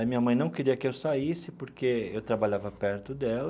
A minha mãe não queria que eu saísse porque eu trabalhava perto dela.